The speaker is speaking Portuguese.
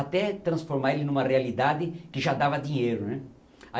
Até transformar ele numa realidade que já dava dinheiro, né?